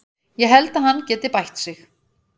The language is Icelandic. Ég held að hann geti bætt sig.